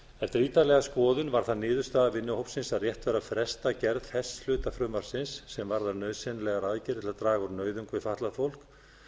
eftir ítarlega skoðun var það niðurstaða vinnuhópsins að rétt væri að fresta gerð þess hluta frumvarpsins sem varðar nauðsynlegar aðgerðir til að draga úr nauðung við fatlað fólk þar sem